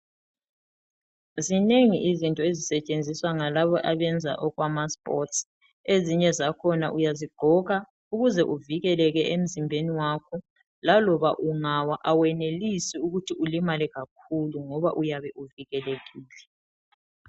Zinengi izinto ezisetshenziswa ngalabo abenza okwamasports .Ezinye zakhona uyazigqoka ukuze uvikeleke emzimbeni wakho .Laloba ungawa awenelisi ukuthi ulimale kakhulu ngoba uyabe uvikelekile .